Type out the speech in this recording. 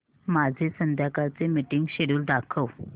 माझे संध्याकाळ चे मीटिंग श्येड्यूल दाखव